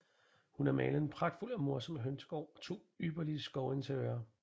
Hun har malet en pragtfuld og morsom Hønsegaard og to ypperlige Skovinteriører